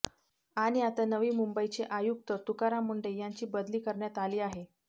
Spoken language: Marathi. आणि आता नवी मुंबईचे आयुक्त तुकाराम मुंढे यांची बदली करण्यात आली आहे